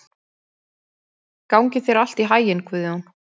Gangi þér allt í haginn, Guðjón.